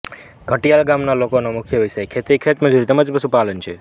ઘંટિયાલ ગામના લોકોનો મુખ્ય વ્યવસાય ખેતી ખેતમજૂરી તેમ જ પશુપાલન છે